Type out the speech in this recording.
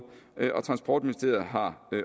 og transportministeriet har